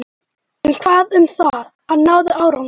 En hvað um það: hann náði árangri.